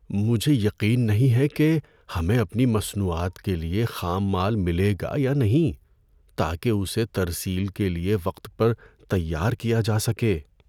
مجھے یقین نہیں ہے کہ ہمیں اپنی مصنوعات کے لیے خام مال ملے گا یا نہیں تاکہ اسے ترسیل کے لیے وقت پر تیار کیا جا سکے۔